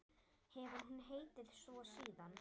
Hefur hún heitið svo síðan.